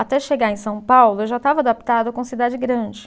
Até chegar em São Paulo, eu já estava adaptada com cidade grande.